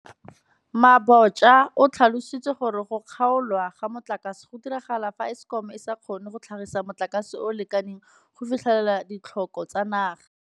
Mabotja o tlhalositse gore go kgaolwa ga motlakase go diragala fa Eskom e sa kgone go tlhagisa motlakase o o lekaneng go fitlhelela ditlhoko tsa naga.